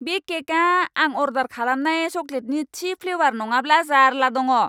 बे केकआ आं अर्डार खालामनाय चकलेटनि थि फ्लेवार नङाब्ला जार्ला दङ!